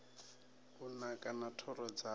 u naka na thoro dzawo